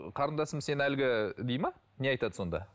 қарындасым сен әлгі дейді ме не айтады сонда